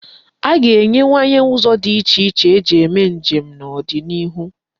A ga-enwewanye ụzọ dị iche iche eji eme njem n'ọdịnihu.